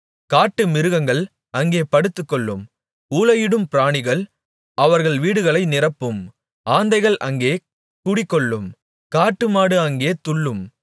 காட்டுமிருகங்கள் அங்கே படுத்துக்கொள்ளும் ஊளையிடும் பிராணிகள் அவர்கள் வீடுகளை நிரப்பும் ஆந்தைகள் அங்கே குடிகொள்ளும் காட்டாடு அங்கே துள்ளும்